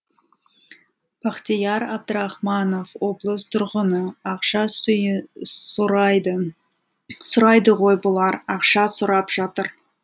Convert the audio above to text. бақтияр әбдірахманов облыс тұрғыны ақша сұрайды ғой бұлар ақша сұрап жатыр